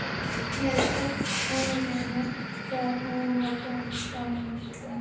Ég hafði varla sleppt orðinu þegar hún var búin að slá mig utan undir.